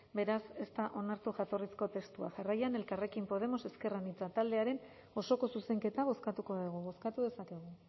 beraz ez da onartu jatorrizko testua jarraian elkarrekin podemos ezker anitza taldearen osoko zuzenketa bozkatuko dugu bozkatu dezakegu